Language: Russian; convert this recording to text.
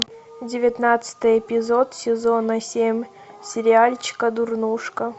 девятнадцатый эпизод сезона семь сериальчика дурнушка